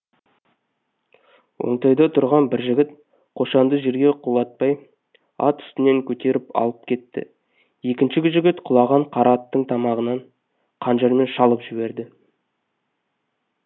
оңтайда тұрған бір жігіт қошанды жерге құлатпай ат үстінен көтеріп алып кетті екінші жігіт құлаған қара аттың тамағынан қанжармен шалып жіберді